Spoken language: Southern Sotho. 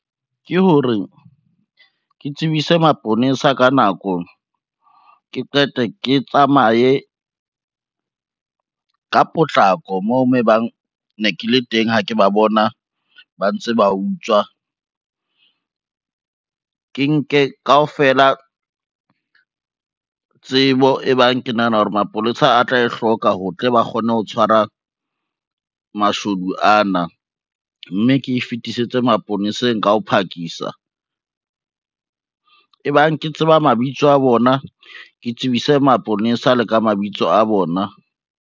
Ke hore ke tsebise maponesa ka nako, ke qeta ke tsamaye ka potlako moo mo e bang ne ke le teng, ha ke ba bona ba ntse ba utswa. Ke nke kaofela tsebo e bang ke nahana hore maponesa a tla e hloka ho tle ba kgone ho tshwara mashodu ana, mme ke e fetisetse maponeseng ka ho phakisa e bang ke tseba mabitso a bona, ke tsebise maponesa le ka mabitso a bona.